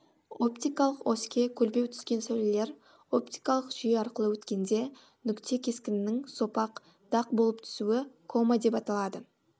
оптикалық оське көлбеу түскен сәулелер оптикалық жүйе арқылы өткенде нүкте кескінінің сопақ дақ болып түсуі кома деп аталады